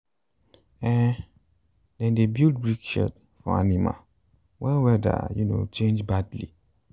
um dem dey build brick shed for animal when weather um change badly.